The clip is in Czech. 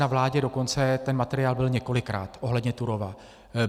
Na vládě dokonce ten materiál byl několikrát ohledně Turówa.